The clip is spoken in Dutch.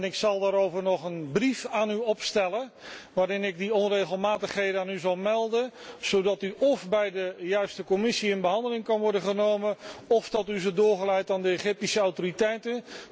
Ik zal daarover nog een brief aan u opstellen, waarin ik de onregelmatigheden aan u zal melden, zodat die brief óf bij de juiste commissie in behandeling kan worden genomen, óf door u doorgestuurd aan de Egyptische autoriteiten.